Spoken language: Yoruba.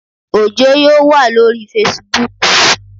Òjó yóò waa lóríi fesibúùkù